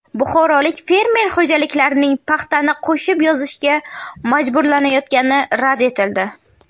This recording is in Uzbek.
Buxorolik fermer xo‘jaliklarining paxtani qo‘shib yozishga majburlanayotgani rad etildi.